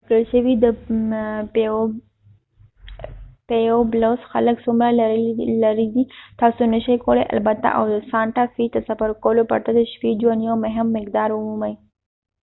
ورکړل شوی د پيويبلوس خلک څومره لرې دي تاسو نشئ کولی البته او سانټا فی ته سفر کولو پرته د شپې ژوند یو مهم مقدار ومومئ